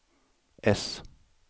äss